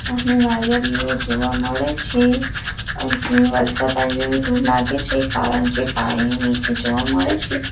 અહીં નાળિયેરીઓ જોવા મળે છે અહીં વરસાદ આવ્યો હોય તો લાગે છે કારણ કે પાણી નીચે જોવા મળે છે.